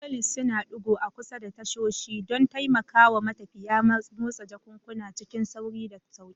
Trolleys suna ɗigo a kusa da tashoshi don taimakawa matafiya motsa jakunkuna cikin sauri da sauƙi.